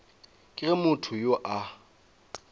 ke ge motho yo a